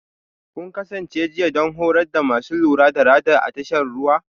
Kun kasance jiya don horar da masu lura da Radar a tashar ruwa?